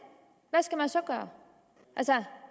hvad skal man så gøre altså